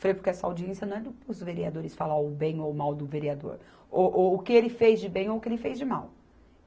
Falei, porque essa audiência não é do, para os vereadores falar o bem ou o mal do vereador, ou o que ele fez de bem ou o que ele fez de mal.